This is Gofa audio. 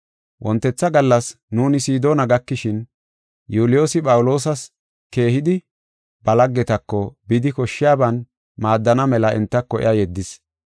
Wontetha gallas nuuni Sidoona gakishin, Yuuliyoosi Phawuloosas keehidi ba laggetako bidi koshshiyaban maaddana mela entako iya yeddis.